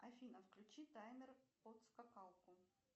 афина включи таймер под скакалку